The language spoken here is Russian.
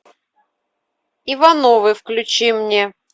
ивановы включи мне